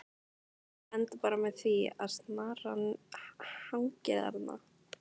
Það endar bara með því að snaran hangir þarna!